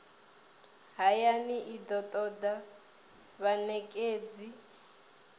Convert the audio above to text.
hayani i do toda vhanekedzi